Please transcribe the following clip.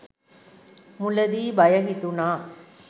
මුලදී බය හිතුණා